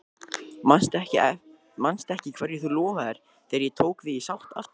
Manstu ekki hverju þú lofaðir þegar ég tók þig í sátt aftur?